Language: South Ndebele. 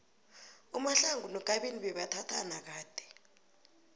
umahlangu nokabini bebathathana kade